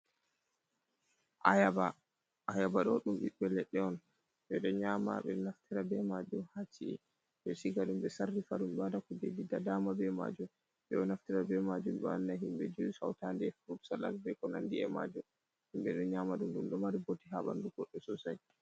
Ayaba, ayaba ɗo ɗum biɓbe leɗɗe on ɓe ɗo nyama ɓe ɗo naftara be majum ha ci’e be shiga ɗum ɓe sarrifa ɗum ɓe waɗa kujegi da dama be majum, ɓedo naftira be majum be wanna himɓe jus hauta ɗe e frud salat be ko nandi’e majum, himɓe ɗo nyama du ɗum ɗo mari bote ha banɗu goɗɗo sosai.